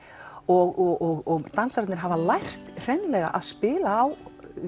og dansararnir hafa lært hreinlega að spila á